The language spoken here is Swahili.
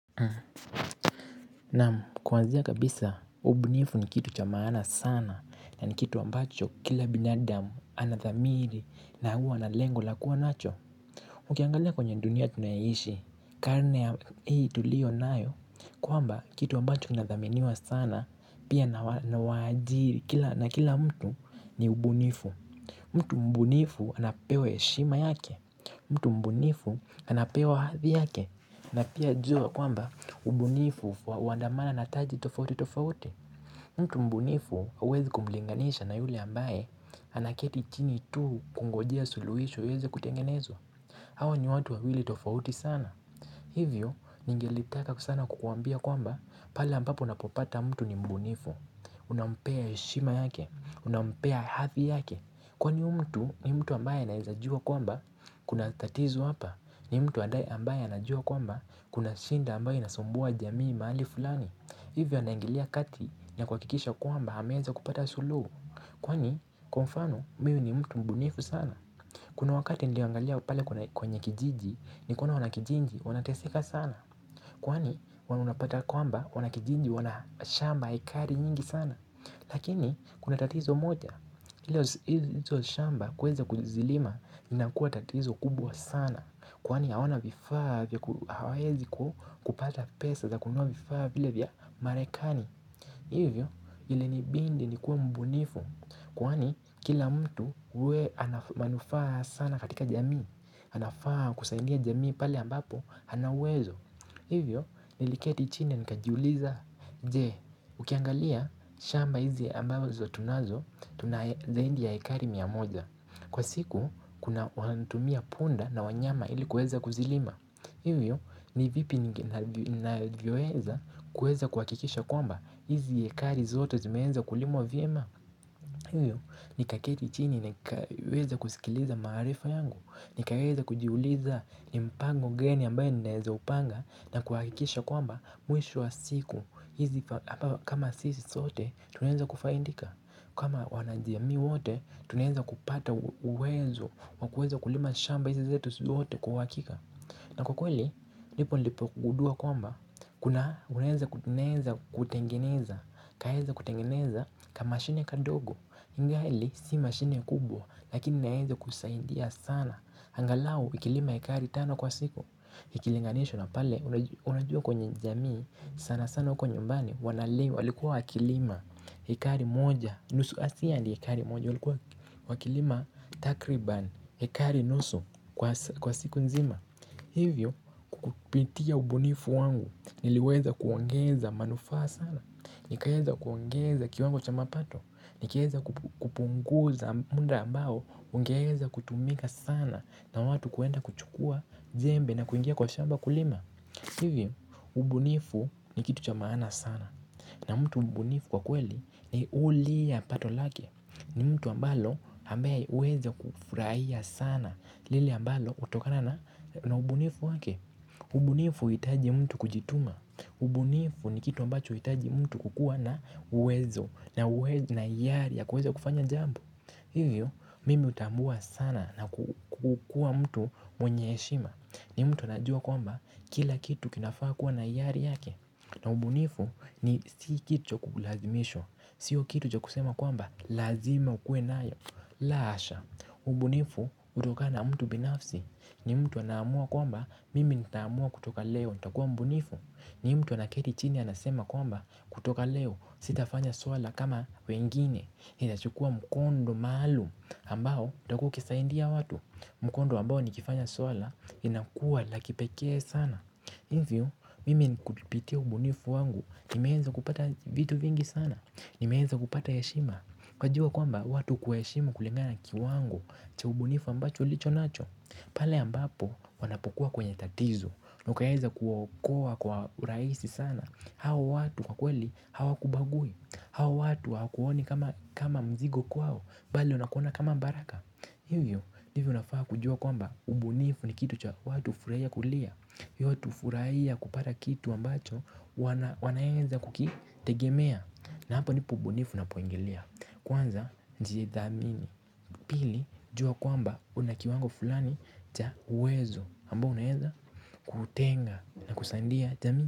Naam kuanzia kabisa ubunifu ni kitu cha maana sana na ni kitu ambacho kila binadamu anadhamiri na huwa na lengo la kuwa nacho Ukiangalia kwenye dunia tunayoishi karne ya hii tulio nayo kwamba kitu ambacho kinadhaminiwa sana pia na waajiri na kila mtu ni ubunifu mtu mbunifu anapewa heshima yake mtu mbunifu anapewa hadhi yake na pia jua kwamba ubunifu huandamana na taji tofauti tofauti. Mtu mbunifu huwezi kumlinganisha na yule ambaye anaketi chini tu kungojea suluhisho iweze kutengenezwa. Hawa ni watu wawili tofauti sana. Hivyo ningelitaka kusana kukuambia kwamba pale ampapo unapopata mtu ni mbunifu. Unampea heshima yake, unampea hadhi yake. Kwani huyu mtu ni mtu ambaye anaeza jua kwamba kuna tatizo hapa ni mtu adai ambaye anajua kwamba kuna shinda ambaye inasumbua jamii mahali fulani. Hivyo anaingilia kati ni kuhakikisha kwamba ameweza kupata suluhu. Kwani kwa mfano mimi ni mtu mbunifu sana. Kuna wakati niliangalia pale kwenye kijiji ni kuna wanakijiji wanateseka sana. Kwani wanapata kwamba wanakijiji wanashamba hekari nyingi sana. Lakini, kuna tatizo moja, izo shamba kuweza kuzilima lina kuwa tatizo kubwa sana Kwani hawana vifaa vya hawaezi kupata pesa za kunua vifaa vile vya marekani Hivyo, ili nibindi nikuwe mbunifu Kwani, kila mtu uwe ana manufafaa sana katika jamii anafaa kusaidia jamii pale ambapo, ana uwezo Hivyo, niliketi chini nikajiuliza Je, ukiangalia, shamba hizi ambazo tunazo Tuna zaidi ya ekari mia moja Kwa siku, kuna wanatumia punda na wanyama ili kueza kuzilima Hivyo, ni vipi ninavyoweza kuweza kuhakikisha kwamba hizi ekari zote zimeenza kulimwa vyema hiyo nikaketi chini ni kaweza kusikiliza maarifa yangu ni kaweza kujiuliza ni mpango gani ambaoo naeza upanga na kuhakikisha kwamba mwisho wa siku hizi kama sisi sote tunaeza kufaindika kama wanajamii wote tunaeza kupata uwezo wakueza kulima shamba hizi zetu sote kwa uhakika na kwa kweli nipo nilipo gudua kwamba Kuna unaeza kuteneza kutengeneza Kaeza kutengeneza kamashine kadogo ingali si mashine kubwa Lakini naeza kusaidia sana angalau ikilima ekari 5 kwa siku Ikilinganishwa na pale Unajua kwenye jamii sana sana huko nyumbani Wanalei walikuwa wakilima ekari moja nusu asi andi ekari moja walikuwa Wakilima takriban ekari nusu kwa kwa siku nzima Hivyo kukupitia ubunifu wangu Niliweza kuongeza manufaa sana Nikaeza kuongeza kiwango cha mapato Nikaeza kupunguza munda ambao Ungeeza kutumika sana na watu kuenda kuchukua jembe na kuingia kwa shamba kulima Hivyo, ubunifu ni kitu cha maana sana na mtu mbunifu kwa kweli ni ulia pato lake ni mtu ambalo ambaye huweza kufurahia sana lile ambalo utokana na ubunifu wake ubunifu uhitaji mtu kujituma ubunifu ni kitu ambacho huhitaji mtu kukuwa na uwezo na uwezo na iyari ya kuweza kufanya jambu Hivyo mimi utambua sana na kukuwa mtu mwenye heshima ni mtu anajua kwamba kila kitu kinafaa kuwa na iyari yake na ubunifu ni sikitu cha kulazimishwa Sio kitu cha kusema kwamba lazima ukue nayo la hasha, ubunifu utokana mtu binafsi ni mtu anaamua kwamba mimi naamua kutoka leo ntakuwa mbunifu ni mtu anaketi chini anasema kwamba kutoka leo sitafanya swala kama wengine Hina chukua mkondo maluum ambao utakuwa ukisaindia watu Mkondo ambao nikifanya swala inakuwa la kipekee sana Hivyo mimi kupitia ubunifu wangu nimeenza kupata vitu vingi sana Nimeeza kupata heshima ukajua kwamba watu hukuheshimu kulingana na kiwango cha ubunifu ambacho ulichonacho pale ambapo wanapokuwa kwenye tatizo na ukaeza kuwaokoa kwa uraisi sana Hawa watu kwa kweli hawakubagui Hawa watu hawakuoni kama mzigo kwao Bali wanakuona kama baraka hiyo ndivyo unafaa kujua kwamba ubunifu ni kitu cha watu hufuraia kulia watu hufuraia kupata kitu ambacho wanaenza kukitegemea na hapo ndipo ubunifu unapoingilia Kwanza njithamini Pili jua kwamba una kiwango fulani cha uwezo ambao unaeza kutenga na kusaindia jamii.